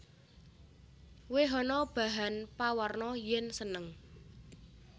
Wèhana bahan pawarna yèn seneng